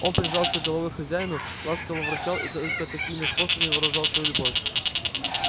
он прижимался головой к хозяину ласково ворчал и только такими способами выражал свою любовь